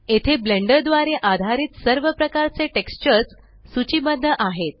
येथे ब्लेंडर द्वारे आधारित सर्व प्रकारचे टेक्स्चर्स सूचीबद्ध आहेत